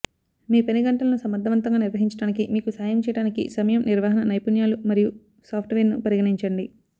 మీ పని గంటలను సమర్థవంతంగా నిర్వహించడానికి మీకు సహాయం చెయ్యడానికి సమయం నిర్వహణ నైపుణ్యాలు మరియు సాఫ్ట్వేర్ను పరిగణించండి